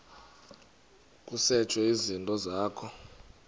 kusetshwe izinto zakho